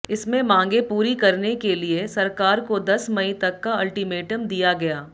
इसमें मांगें पूरी करने के लिये सरकार को दस मई तक का अल्टीमेटम दिया गया